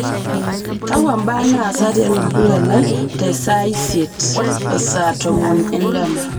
kakwa mbaa naasa tiatua olduka lai te saa isiet o saa tomon endama